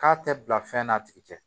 K'a tɛ bila fɛn n'a tigi tɛ